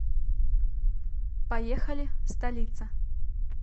поехали столица